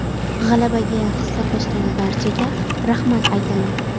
G‘alabaga hissa qo‘shgan barchaga rahmat aytaman.